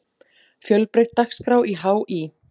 Fjölbreytt dagskrá í HÍ